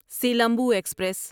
Silambu express